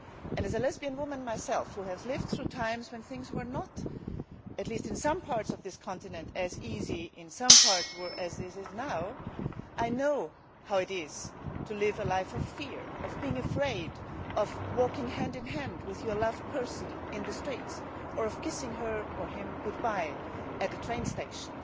As a lesbian woman myself, and one who has lived through times when things were not, at least in some parts of this continent, as easy as they are now, I know how it is to live a life of fear, of being afraid of walking hand in hand with your loved person in the streets, or of kissing her or him goodbye at the train station.